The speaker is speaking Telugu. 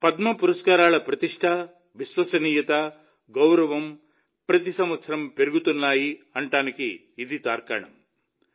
పద్మ పురస్కారాల ప్రతిష్ఠ విశ్వసనీయత గౌరవం ప్రతి సంవత్సరం పెరుగుతున్నాయని ఇది తెలియజేస్తుంది